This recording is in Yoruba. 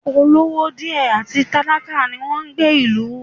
Olówó díẹ̀ àti tálákà ni wọn ń gbé ìlú